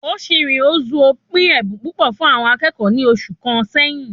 Ochiri Ozuo pín ẹbùn púpọ̀ fún àwọn akẹ́kọ̀ọ́ ní oṣù kàn sẹyìn